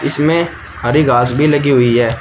इसमें हरी घास भी लगी हुई है।